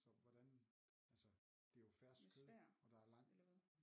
Så hvordan altså det er jo fersk kød og der er langt